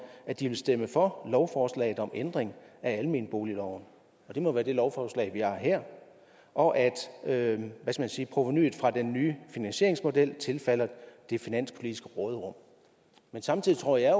at de vil stemme for lovforslaget om ændring af almenboligloven og det må være det lovforslag vi har her og at at provenuet fra den nye finansieringsmodel tilfalder det finanspolitiske råderum men samtidig tror jeg